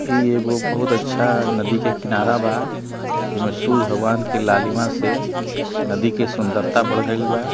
ई एगो बहुत अच्छा नदी के किनारा बा जेमे सुरुज भगवान के लालिमा से नदी के सुन्दरता बढ़ गइल बा